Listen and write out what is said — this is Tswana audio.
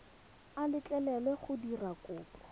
a letlelelwa go dira kopo